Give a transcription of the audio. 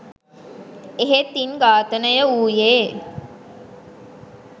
එහෙත් ඉන් ඝාතනය වූයේ